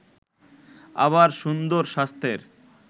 আবার সুন্দর স্বাস্থ্যের